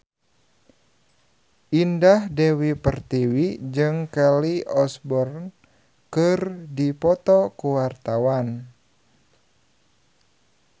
Indah Dewi Pertiwi jeung Kelly Osbourne keur dipoto ku wartawan